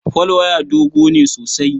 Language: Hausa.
Folwaya dogo ne sosai.